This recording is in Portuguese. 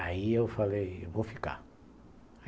Aí eu falei, eu vou ficar.